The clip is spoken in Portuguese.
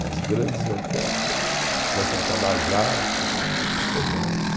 As grandes orquestras, a orquestra tabajara, não tem mais.